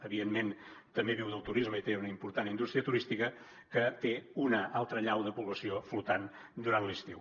evidentment també viu del turisme i té una important indústria turística que té una altra allau de població flotant durant l’estiu